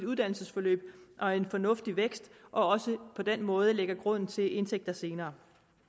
uddannelsesforløb og en fornuftig vækst og også på den måde lægges grunden til indtægter senere